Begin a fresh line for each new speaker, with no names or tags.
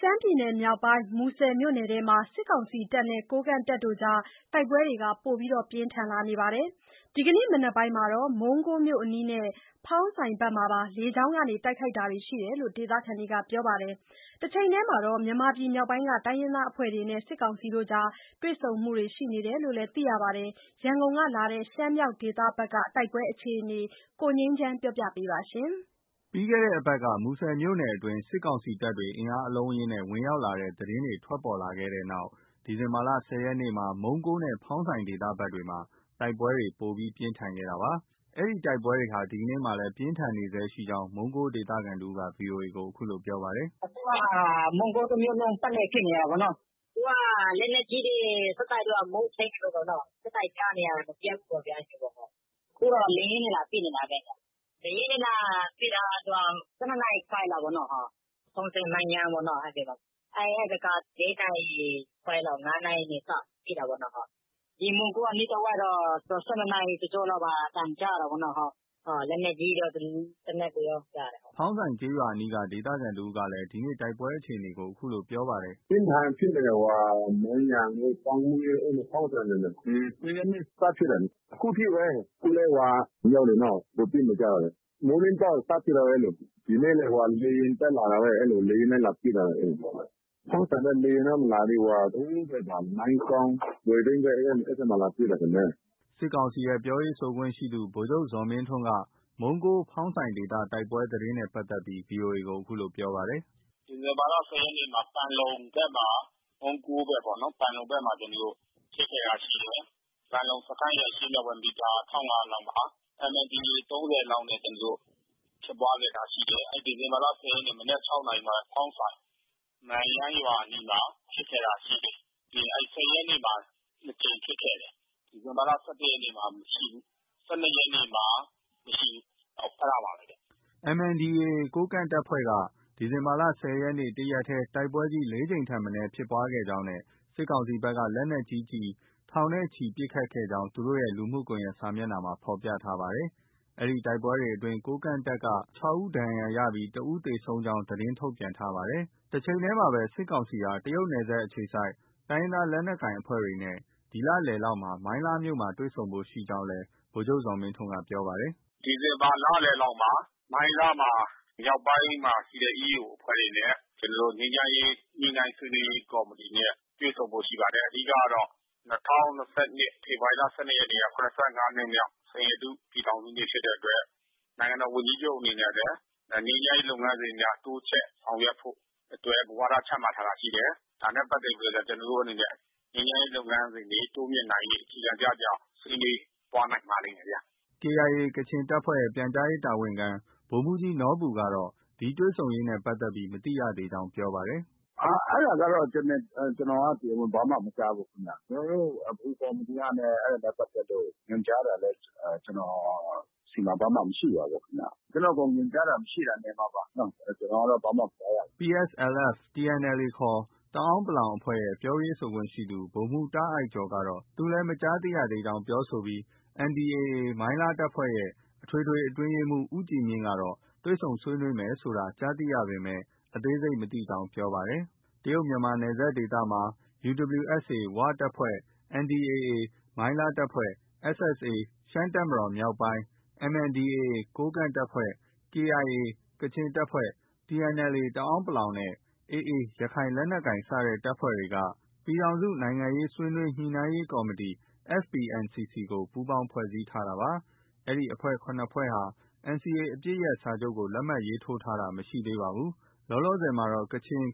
ရှမ်းပြည်နယ်မြောက်ပိုင်း မူဆယ်မြို့နယ်ထဲမှာ စစ်ကောင်စီတပ်နဲ့ ကိုးကန့်တပ်အကြား တိုက်ပွဲတွေ ပိုမိုပြင်းထန် လာနေပါတယ်။ ဒီကနေ့မနက်ပိုင်းမှာတော့ မုံးကိုးမြို့အနီးနဲ့ ဖောင်းဆိုင်ဘက်မှာ လေကြောင်းကပါ တိုက်ခိုက်တာတွေ ရှိကြောင်း ဒေသခံတွေက ပြောပါတယ်။ တချိန်တည်းမှာတော့မြန်မာပြည်မြောက်ပိုင်းက တိုင်းရင်းသားအဖွဲ့တွေနဲ့ စစ်ကောင်စီတို့ တွေ့ဆုံဖို့ ရှိနေတယ်လို့လည်း သိရပါတယ်။ ရန်ကုန်ကလာတဲ့ ရှမ်းမြောက်ဒေသဘက် တိုက်ပွဲအခြေအနေကို ကိုငြိမ်းချမ်းကတင်ပြပေးထားပါတယ်။
လွန်ခဲ့တဲ့ အပတ်က မူဆယ်မြို့နယ်အတွင်း စစ်ကောင်စီတပ်တွေ အင်အားအလုံးအရင်းနဲ့ ဝင်ရောက်လာတဲ့ သတင်းတွေ ထွက်ပေါ်ခဲ့တဲ့နောက် ဒီဇင်ဘာလ ၁၀ ရက်နေ့မှာ မုံးကိုးနဲ့ ဖောင်းဆိုင် ဒေသဘက်တွေမှာ တိုက်ပွဲတွေ ပိုမို ပြင်းထန်ခဲ့တာပါ။ ဒီတိုက်ပွဲတွေဟာ ဒီနေ့မှာလည်း ပြင်းထန်နေဆဲရှိကြောင်း မုံးကိုး ဒေသခံတဦးက VOA ကို အခုလို ပြောပါတယ်။ “အခုက မုံးကိုးတမြို့လုံး ပတ်လည် ဖြစ်နေတာပေါ့နော
။ သူက လက်နက်ကြီးတွေ ဆက်တိုက် မိုးခြိမ်းသလိုပေါ့နော။ ဆက်တိုက်ကြားနေရတယ်။ မပြတ်ဘူးပေါ့ဗျာ အဲသလိုပေါ့။ အခုတော့ လေယာဉ်နဲ့ လာပစ်နေတာပဲဗျ။ လေယာဉ်နဲ့ လာပစ်တာက သူက ၁၂ နာရီခွဲလောက်ပေါ့။ ဖောင်းဆိုင်၊ မန့်ယန်းဘက်ပေါ့ အဲဒီဘက်က ၄ နာရီခွဲလောက် ၅ နာရီက စပစ်တာပေါ့နော။
ဒီ မုံးကိုး အနီးတ
ဝိုက်တော့ ၁၂ နာရီ တကျော့လောက်မှာ အသံကြားရတာပေါ့။ လက်နက်ကြီးတွေရော၊ သေနတ်တွေရော ကြားရတယ်
။ ” ဖောင်းဆိုင်ကျေးရွာအနီးက ဒေသခံတဦးကလည်း ဒီနေ့ တိုက်ပွဲအခြေအနေကို အခုလို ပြောပါတယ်။ “ပြင်းပြင်းထန်ထန် ဖြစ်နေတယ်။ ဟိုမှာ မန့်ယန်းတို့၊ ဘန့်မွှေးတို့၊
ဖောင်းဆိုင်ဘက်မယ်။ ၁၀ ရက်နေ့ စဖြစ်တယ်။ အခုထိပဲ။ အခုလည်း သူတို့ အမြောက်တွေနော် ပစ်နေကြတယ်။ မိုးလင်းတော့ စပစ်တာပဲလေ။ ဒီနေ့လည်း လေယာဉ်တက်လာတာပဲ လေယာဉ်နဲ့ လာပစ်တာပဲ။ ဖောင်းဆိုင်တော့ လေယာဉ်တော့ မလာသေးဘူး။ ဟိုဘက် မိုင်းကောင်း၊ လွယ်ဝိန်းဘက် လာပစ်တာထင်တယ်။
” စစ်ကောင်စီရဲ့ ပြောရေးဆိုခွင့်ရှိသူ ဗိုလ်ချုပ်ဇော်မင်းထွန်းက မုံးကိုး၊ ဖောင်းဆိုင် ဒေသတိုက်ပွဲသတင်းနဲ့ ပတ်သက်ပြီး VOA ကို အခုလို ပြောပါတယ်။
“ဒီဇင်ဘာလ ၁၀ ရက်နေ့မှာ ပန်လုံဘက်မှာ၊ မုံးကိုးဘက်ပေါ့။ ပန်လုံဘက်မှာ ဖြစ်ခဲ့တာရှိတယ်။ ပန်လုံစခန်းရဲ့ အရှေ့မြောက်ဖက် မီတာ ၁,၅၀၀ လောက်မှာ MNDAA ၃၀ လောက်နဲ့ ကျနော်တို့ ဖြစ်ပွားခဲ့တာရှိတယ်။ ဒီဇင်ဘာလ ၁၀ ရက်နေ့ မနက် ၆ နာရီမှာ ဖောင်းဆိုင်၊ နမ့်ယန်းရွာအနီးမှာ ဖြစ်ခဲ့တာရှိတယ်။ ၁၀ ရက်နေ့မှာ ၂ ကြိမ်ဖြစ်ခဲ့တယ်။ ဒီဇင်ဘာလ ၁၁ ရက်နေ့မှာ မရှိဘူး။ ၁၂ ရက်နေ့မှာ မရှိဘူး၊ အဲဒါပါပဲဗျ
။” MNDAA ကိုးကန့်အဖွဲ့ဘက်က ဒီဇင်ဘာလ ၁၀ ရက်နေ့ တရက်တည်း တိုက်ပွဲကြီး ၄ ကြိမ်ထက်မနည်း ဖြစ်ခဲ့ကြောင်း နဲ့ စစ်ကောင်စီဘက်က လက်နက်ကြီးကျည် ထောင်ချီပစ်ခတ်ခဲ့ကြောင်း သူတို့ရဲ့ လူမှုကွန်ရက် စာမျက်နှာမှာ ဖော်ပြထားပါတယ်။ ဒီတိုက်ပွဲတွေအတွင်း ကိုးကန့်တပ်က ၆ ဦး ဒဏ်ရာရပြီး တဦး သေဆုံးကြောင်းလည်း သတင်းထုတ်ပြန်ထားပါတယ်။ တချိန်တည်းမှာတော့ စစ်ကောင်စီဟာ တရုတ်နယ်စပ်အခြေစိုက် တိုင်းရင်းသားလက်နက်ကိုင်အဖွဲ့တွေနဲ့ ဒီလလယ်လောက်မှာ မိုင်းလားမြို့မှာ တွေ့ဆုံဖို့ရှိကြောင်းစလည်းဗိုလ်ချုပ်ဇော်မင်းထွန်းက ပြောပါတယ်
။ “ဒီဇင်ဘာလလယ်လောက်မှာ မြောက်ပိုင်းမှာရှိတဲ့ EAO အဖွဲ့တွေနဲ့ကျနော်တို့ ငြိမ်းချမ်းရေးညှိနှိုင်းဆွေးနွေးရေး ကော်မတီနဲ့ တွေ့ဆုံဖို့ ရှိပါတယ်။ အဓိကကတော့ ၂၀၂၂ ဖေဖော်ဝါရီလ ၁၂ ရက်နေ့က ၇၅ နှစ်မြောက် စိန်ရတု ပြည်ထောင်စုနေ့ဖြစ်တဲ့အတွက် နိုင်ငံတော်ဝန်ကြီးချုပ်အနေနဲ့လည်း ငြိမ်းချမ်းရေးလုပ် ငန်းစဉ်မှာ တိုးချဲ့ဆောင်ရွက်ဖို့အတွက် မူဝါဒ ချမှတ်ထားတာရှိတယ်။ ဒါနဲ့ပတ်သက်ပြီး ကျနော်တို့ အနေနဲ့ ငြိမ်းချမ်းရေးလုပ်ငန်းစဉ်တွေ တိုးမြှင့်နိုင်ရေး အခြေခံကျကျ ဆွေးနွေးသွား နိုင်ပါလိမ့်မယ်ဗျား
။ ” KIA ကချင်တပ်ဖွဲ့ရဲ့ ပြန်ကြားရေးတာဝန်ခံ ဗိုလ်မှူးကြီးနော်ဘူကတော့ ဒီတွေ့ဆုံရေးနဲ့ပတ်သက်ပြီး မသိရသေး ကြောင်းပြောပါတယ်။
“အဲဒါကတော့ ကျနော်က တရားဝင် ဘာမှ မကြားဘူးခင်ဗျ။ ကျနော်တို့ ဗဟိုကော်မတီက အဲဒါနဲ့ပတ်သက်လို့ ညွှန်ကြားတာလည်း ကျနော့ဆီမှာ ဘာမှ မရှိပါဘူးခင်ဗျ။ ကျနော့ကို ညွှန်ကြားတာ မရှိတာနေမှာပါ။ ကျနော်ကတော့ ဘာမှ မကြားရ
ဘူး။” PSLF/ TNLA ခေါ် တအန်း(ပလောင်) အဖွဲ့ရဲ့ ပြောရေးဆိုခွင့်ရှိသူ ဗိုလ်မှူး တာ့အိုက်ကျော်က သူလည်း မကြားသိကြောင်း ပြောဆိုပြီး NDAA မိုင်းလားအဖွဲ့ရဲ့ အထွေထွေအတွင်းရေးမှူး ဦးကြည်မြင့်ကတော့ တွေ့ဆုံ ဆွေးနွေးမယ်ဆိုတာ ကြားသိရပေမဲ့ အသေးစိတ် မသိကြောင်း ပြောပါတယ်။ တရုတ်မြန်မာနယ်စပ်ဒေသမှာ UWSA ဝ၊ NDAA မိုင်းလား၊ SSA ရှမ်းတပ်မတော် မြောက်ပိုင်း၊ MNDAA ကိုးကန့်၊ KIA ကချင်၊TNLA တအန်း(ပလောင်ဝ်) နဲ့AA ရခိုင် စတဲ့အဖွဲ့တွေက ပြည်ထောင်စု နိုင်ငံရေးဆွေးနွေး ညှိနှိုင်းရေးကော်မတီ FPNCC ကို ပူးပေါင်းဖွဲ့စည်းထားပါတယ်။ ဒီအဖွဲ့ ၇ ဖွဲ့ဟာ NCA အပစ်ရပ်စာချုပ်ကို လက်မှတ်ရေးထိုးတာမရှိသေးပါဘူး။ လောလောဆယ်မှာတော့ KIA ကချင်၊